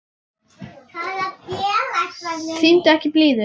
Sýndu ekki blíðu.